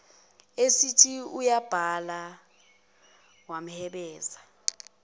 esethi uyayibala wamhebeza